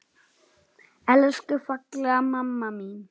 Elsku fallega mamma mín.